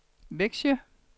Vexjö